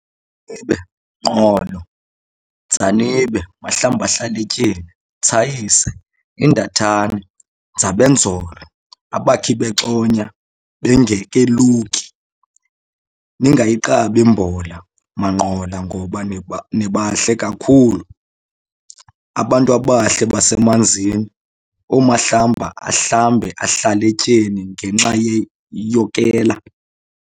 Nqolo Dzanibe Mahlambahlaletyeni thsayise indathane Ndzabedvolo abakhibexonya bengaleluki ningayigqabi mbola maNqolo ngoba nibahle kakhulu abantwabahle basemanzini oomahlamba ahlambe ahlaletyeni ngenxa yokela